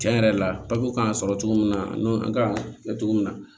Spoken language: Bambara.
Cɛn yɛrɛ la kan ka sɔrɔ cogo min na an kan ka kɛ cogo min na